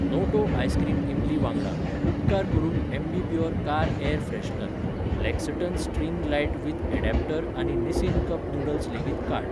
Noto ice cream इमली वांगडा, उपकार करून ॲम्बीप्युर कार एअर फ्रेशनर, लॅक्सटन स्ट्रिंग लायट विथ अडॅप्टर आनी निसिन कप नूडल्स लेगीत काड.